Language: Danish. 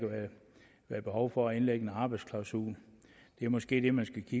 være behov for at indlægge en arbejdsklausul det er måske det man skal